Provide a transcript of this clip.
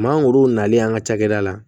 Mangoro nalen an ka cakɛda la